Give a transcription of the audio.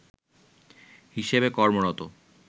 হিসেবে কর্মরত